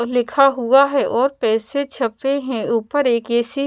लिखा हुआ है और पैसे छपे हैं ऊपर एक ए_सी --